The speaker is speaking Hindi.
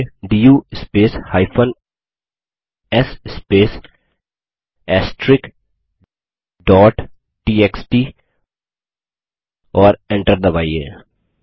फिर टाइप करिये do space s space TXT और enter दबाइए